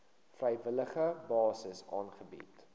vrywillige basis aangebied